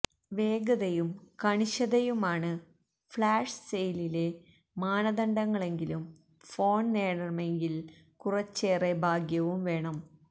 വേഗതയും കണിശതയുമാണ് ഫ്ലാഷ് സെയിലിലെ മാനദണ്ഡങ്ങളെങ്കിലും ഫോണ് നേടണമെങ്കില് കുറച്ചേറെ ഭാഗ്യവും വേണം